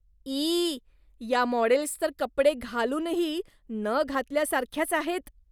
E! या models तर कपडे घालूनही न घातल्यासारख्याच आहेत.